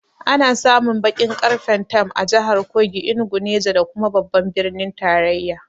Ana samun baƙin ƙarfen tam a jahar Kogi, Enugu, Neja da kuma babban birnin tarayya